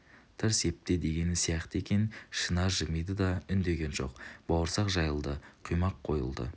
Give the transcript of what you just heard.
тырс епте дегені сияқты екен шынар жымиды да үндеген жоқ бауырсақ жайылды құймақ қойылды